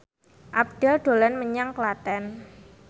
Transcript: Abdel dolan menyang Klaten